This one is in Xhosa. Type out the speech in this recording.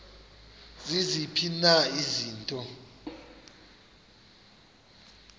ziziphi na izinto